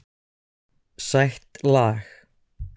Sætt lag.